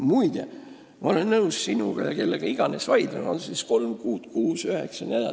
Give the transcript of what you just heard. Muide, ma olen nõus sinu ja kellega iganes vaidlema, kas see peaks olema kolm, kuus või üheksa kuud.